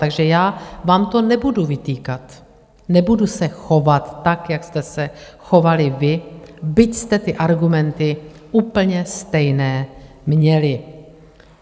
Takže já vám to nebudu vytýkat, nebudu se chovat tak, jak jste se chovali vy, byť jste ty argumenty úplně stejné měli.